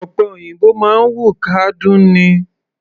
Ọ̀pẹ òyìnbó máa ń wù kádún ni.